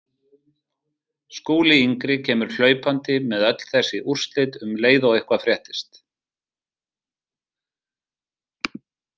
Skúli yngri kemur hlaupandi með öll þessi úrslit um leið og eitthvað fréttist.